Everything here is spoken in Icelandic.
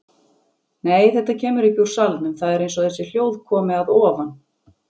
Nei, þetta kemur ekki úr salnum, það er eins og þessi hljóð komi að ofan.